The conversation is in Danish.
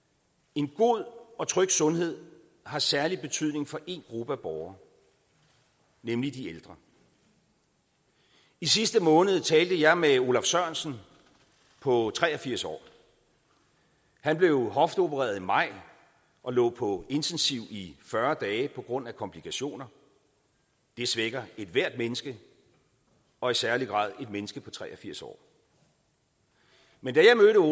en god og tryg sundhed har særlig betydning for én gruppe af borgere nemlig de ældre i sidste måned talte jeg med olaf sørensen på tre og firs år han blev hofteopereret i maj og lå på intensiv i fyrre dage på grund af komplikationer det svækker ethvert menneske og i særlig grad et menneske på tre og firs år men da